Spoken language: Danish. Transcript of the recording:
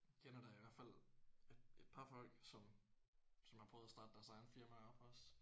Kender da i hvert fald et et par folk som som har prøvet at starte deres egne firmaer op også